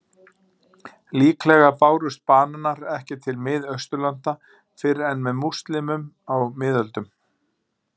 Líklega bárust bananar ekki til Miðausturlanda fyrr en með múslímum á miðöldum.